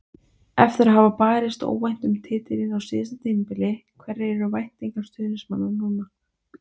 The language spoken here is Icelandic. Eftir að hafa barist óvænt um titilinn á síðasta tímabili, hverjar eru væntingar stuðningsmanna núna?